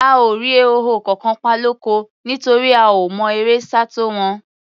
A ò rí ehoro kankan pa lóko, nítorí a ò mọ eré sá tó wọn.